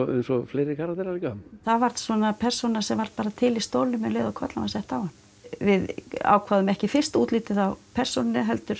eins og fleiri karaktera bara það var svona persóna sem var til í stólnum um leið og kollan var sett á hann við ákváðum ekki fyrst útlitið á persónunni heldur